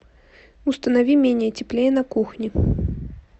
установи менее теплее на кухне